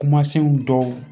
Kumasenw dɔw